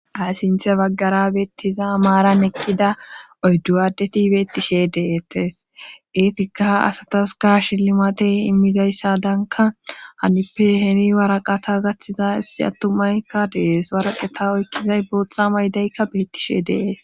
ha sinthe baggara beettiza maaran eqqida oyddu addeti beettishe de7ettes eetikka asataska shillmate immizayssadanka hanippe heni waraqata gathtiza issi attumaykka de7es waraqeta oykkizay bootha mayidaykka beettishe de7es